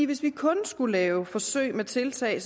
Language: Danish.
hvis vi kun skulle lave forsøg med tiltag